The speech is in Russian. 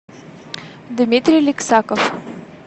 дмитрий лексаков